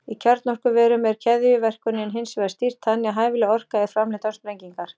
Í kjarnorkuverum er keðjuverkuninni hins vegar stýrt þannig að hæfileg orka er framleidd án sprengingar.